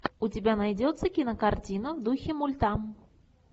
у тебя найдется кинокартина в духе мульта